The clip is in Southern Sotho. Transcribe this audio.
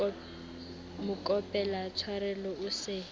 mo kopela tshwarelo o se